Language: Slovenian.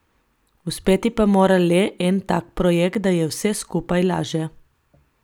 Uspeti pa mora le en tak projekt, da je vse skupaj laže.